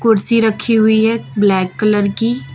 कुर्सी रखी हुई है ब्लैक कलर की।